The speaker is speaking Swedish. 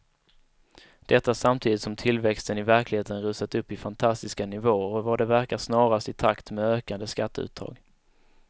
Detta samtidigt som tillväxten i verkligheten rusat upp i fantastiska nivåer och vad det verkar snarast i takt med ökande skatteuttag.